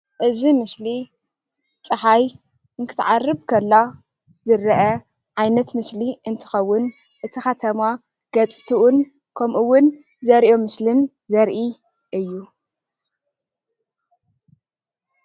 እዚ ምስሊ ፀሓይ እትትዓርብ ከላ ዝረአ ዓይነት ምስሊ እንትከውን እቲ ከተማ ገፅትኡን ከምኡ እውን ዘርእዮ ምስልን ዘርኢ እዩ፡፡